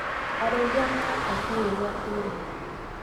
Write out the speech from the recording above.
Arĩithia maraka kiugũ gĩa kĩrĩũ.